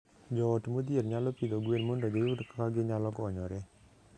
Joot modhier nyalo pidho gwen mondo giyud kaka ginyalo konyore.